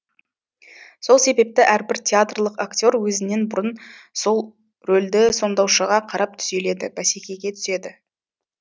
сол себепті әрбір театрлық акте р өзінен бұрын сол рөлді сомдаушыға қарап түзеледі бәсекеге түседі